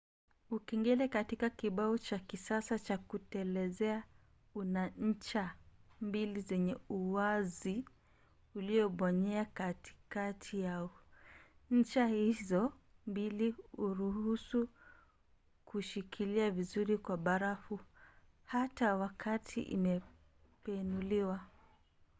ukengele katika kibao cha kisasa cha kutelezea una ncha mbili zenye uwazi uliobonyea katikati yao. ncha hizo mbili huruhusu kushikilia vizuri kwa barafu hata wakati imebenuliwa